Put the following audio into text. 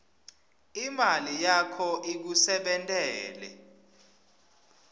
imali yakho ikusebentele